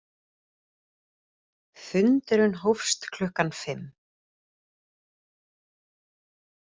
Fundurinn hófst klukkan fimm